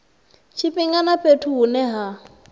tshifhinga na fhethu hune ha